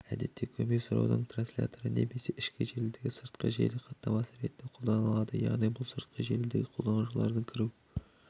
әдетте көмей сұраудың трансляторы немесе ішкі желідегі сыртқы желі хаттамасы ретінде қолданылады яғни бұл сыртқы желідегі қолданушылардың кіру